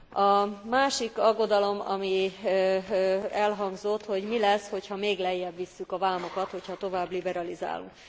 A másik aggodalom, ami elhangzott, hogy mi lesz, hogyha még lejjebb visszük a vámokat, hogyha tovább liberalizálunk.